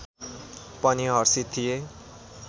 पनि हर्षित थिए